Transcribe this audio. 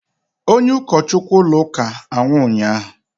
onye ụkọchukwu ụlọ ụka anwụ ụnyahụ